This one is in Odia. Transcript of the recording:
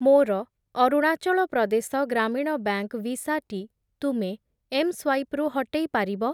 ମୋର ଅରୁଣାଚଳ ପ୍ରଦେଶ ଗ୍ରାମୀଣ ବ୍ୟାଙ୍କ୍‌ ଭିସା ଟି ତୁମେ ଏମ୍‌ସ୍ୱାଇପ୍‌ ରୁ ହଟେଇ ପାରିବ?